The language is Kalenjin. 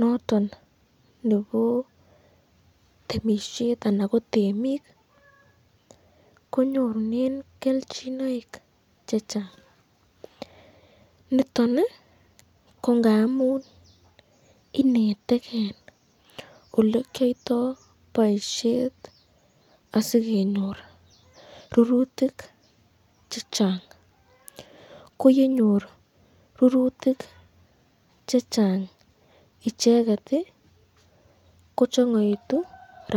noton nebo temisiet ana bo temik konyorunen kelchinoik che chang niton ko ngamun inetegen ole kiyoito boisiet asikenyor rurutik che chang. Ko ye nyor rurutik che chang icheget kochang'oegitu rabinik.